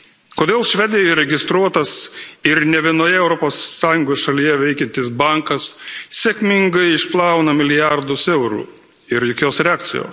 Kodėl Švedijoje registruotas ir ne vienoje Europos Sąjungos šalyje veikiantis bankas sėkmingai išplauna milijardus eurų ir jokios reakcijos?